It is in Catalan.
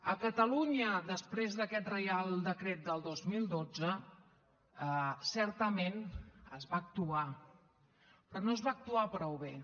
a catalunya després d’aquest reial decret del dos mil dotze certament es va actuar però no es va actuar prou bé